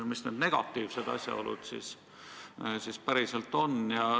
Mis need negatiivsed asjaolud siis on?